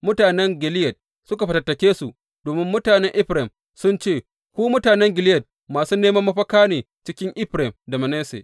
Mutanen Gileyad suka fatattake su domin mutanen Efraim sun ce, Ku Mutanen Gileyad masu neman mafaka ne cikin Efraim da Manasse.